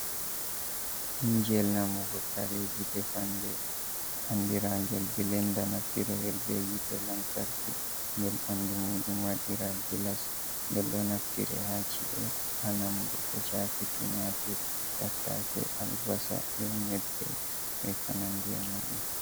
Injel namugo kareji defanɗe andira gel bilenda naftiro helbe yite lantarki ngel bandu muɗum waɗira gillas ngel ɗo naftire hachi’e anamugo ko chafi tumatur tatta se albasa be nyebbe be konande muɗum.